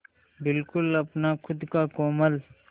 बिल्कुल अपना खु़द का कोलम